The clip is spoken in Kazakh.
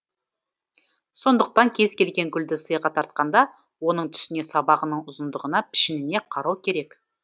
сондықтан кез келген гүлді сыйға тартқанда оның түсіне сабағының ұзындығына пішініне қарау керек